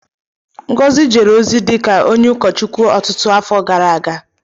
Ngozi jere ozi dị ka onye ụkọchukwu ọtụtụ afọ gara aga.